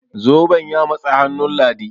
zoben ya matsi hannun ladi?